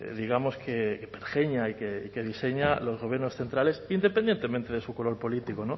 digamos que pergeña y que diseñan los gobiernos centrales independientemente de su color político